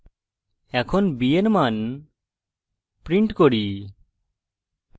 এখন b এর মান print করি